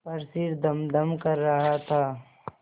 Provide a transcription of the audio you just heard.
पर सिर धमधम कर रहा था